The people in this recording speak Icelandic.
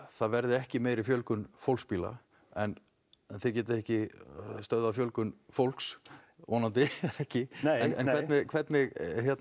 það verði ekki meiri fjölgun fólksbíla en þið getið ekki stöðvað fjölgun fólks vonandi ekki en hvernig